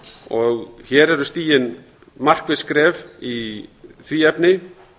og hér eru stigin markviss skref í því efni